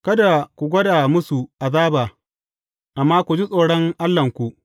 Kada ku gwada musu azaba, amma ku ji tsoron Allahnku.